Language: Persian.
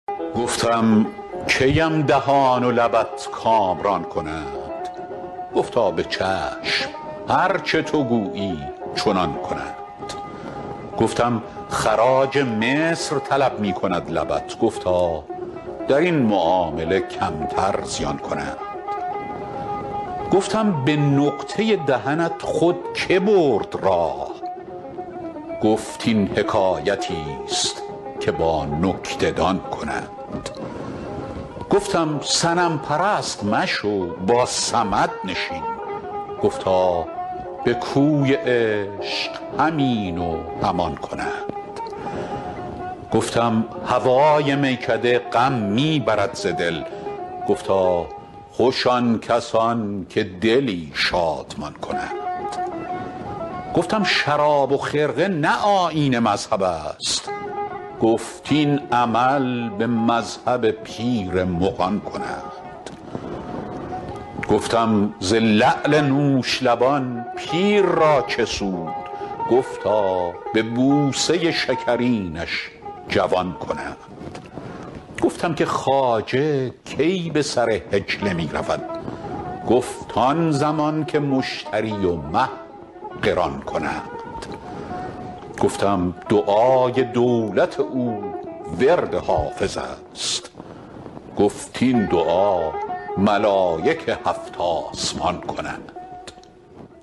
گفتم کی ام دهان و لبت کامران کنند گفتا به چشم هر چه تو گویی چنان کنند گفتم خراج مصر طلب می کند لبت گفتا در این معامله کمتر زیان کنند گفتم به نقطه دهنت خود که برد راه گفت این حکایتیست که با نکته دان کنند گفتم صنم پرست مشو با صمد نشین گفتا به کوی عشق هم این و هم آن کنند گفتم هوای میکده غم می برد ز دل گفتا خوش آن کسان که دلی شادمان کنند گفتم شراب و خرقه نه آیین مذهب است گفت این عمل به مذهب پیر مغان کنند گفتم ز لعل نوش لبان پیر را چه سود گفتا به بوسه شکرینش جوان کنند گفتم که خواجه کی به سر حجله می رود گفت آن زمان که مشتری و مه قران کنند گفتم دعای دولت او ورد حافظ است گفت این دعا ملایک هفت آسمان کنند